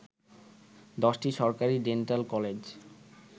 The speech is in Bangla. ১০টি সরকারি ডেন্টাল কলেজ